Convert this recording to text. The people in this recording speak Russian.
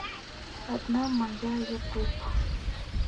одна моя ютуб